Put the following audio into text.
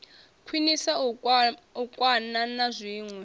khwiniswa u kwakwana na zwinwe